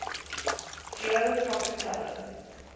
geo pocket color